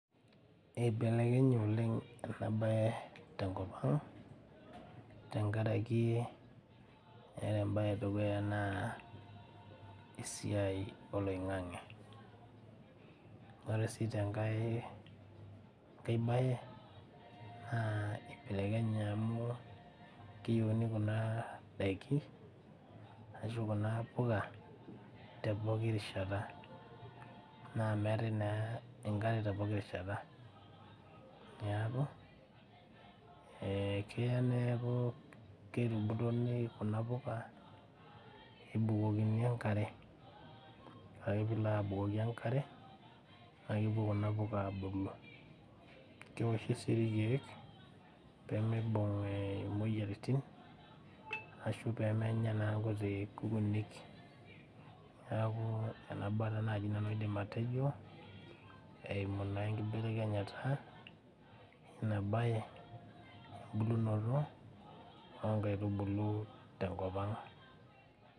Eibelekenye oleng ena baye tenkop ang tenkaraki ere embaye edukuya naa esiai oloing'ang'e nore sii tenkae enkae baye naa eibelekenye amu keyieuni kuna daiki ashu kuna puka te poki rishata naa meetae naa enkare te poki rishata niaku ekeya neeku keta embutonei kuna puka ebukokokini enkare ore ake piilo abukoki enkare naakepuo kuna puka abulu keoshi sii irkeek pemeibung eh imoyiaritin ashu pemenya naa nkuti kukunik niaku nena baa taa naji nanu aidim atejo eimu naa enkibelekenyata ina baye embulunoto onkaitubulu tenkop ang.